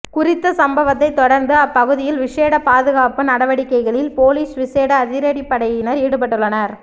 குறித்த சம்பவத்தைத் தொடர்ந்து அப்பகுதியில் விஷேட பாதுகாப்பு நடவடிக்கைகளில் பொலிஸ் விஷேட அதிரடிப்படையினர் ஈடுபட்டுள்ளனர்